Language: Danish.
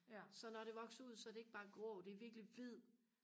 så når det vokser ud så er det ikke bare grå det er virkelig hvid